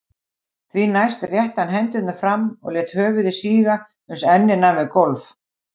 Því næst rétti hann hendurnar fram og lét höfuð síga uns ennið nam við gólf.